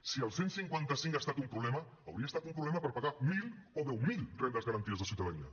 si el cent i cinquanta cinc ha estat un problema hauria estat un problema per pagar mil o deu mil rendes garantides de ciutadania